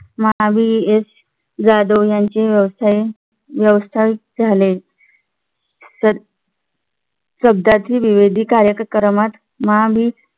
Mahavir S Jadhav यांचे व्यवसाय व्यवस्थायिक झाले. स अह सध्यातील विविध कार्यक्रमात महावीर